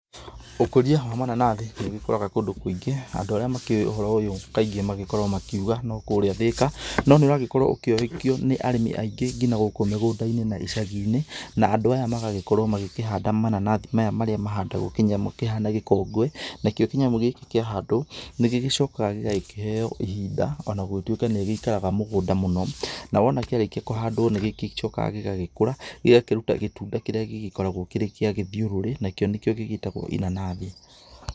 Ũkũria wa mananathi nĩ ũgĩkũraga kũndũ kũingĩ andũ arĩa makĩũĩ ũndũ ũyũ kaingĩ magĩkoragwo makĩuga no kũrĩa Thika no nĩ ũrakorwo ũkĩoyĩkio nĩ arĩmi aingĩ nginya gũkũ mĩgũnda-inĩ na icagi-inĩ na andũ aya magagĩkorwo magĩkĩhanda maya mananathi marĩa mahandagwo kĩnyamũ kĩhana gĩkũngũĩ, nakĩo kĩnyamũ gĩkĩ kĩa handwo nĩ gĩgĩcokaga gĩgakĩheo ihinda ona gũgĩtuĩka nĩ ĩgĩikaraga mũgũnda mũno, na wona kĩarĩkio kũhandwo nĩgĩcokaga gĩgakũra gĩgakĩrũta gĩtunda kĩrĩa gĩgĩkoragwo kĩrĩ gĩa gĩthiũrũrĩ nakĩo nĩkĩo gĩgĩtagwo inanathi.